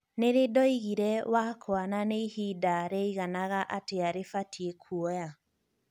nīri ndoigire wakwa na ni ihida rīaiganaga atia rīabatie kuoya